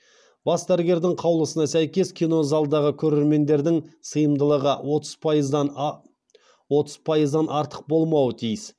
бас дәрігердің қаулысына сәйкес кино залдағы көрермендердің сыйымдылығы отыз пайыздан артық болмауы тиіс